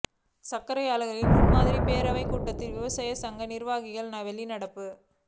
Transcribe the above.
சா்க்கரை ஆலை முன்மாதிரி பேரவைக் கூட்டத்தில் விவசாய சங்க நிா்வாகிகள் வெளிநடப்பு